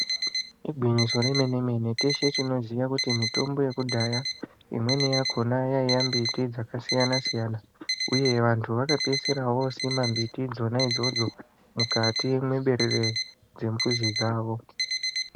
Igwinyiso remene-mene, teshe tinoziya kuti mitombo yekudhaya imweni yakona yaiya mbiti dzakasiyana-siyana uye vantu vakapedzisira vosima mbiti idzona idzodzo mukati meberere dzembizi dzavo.